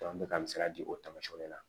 bɛ ka misali di o taamasiyɛnw de la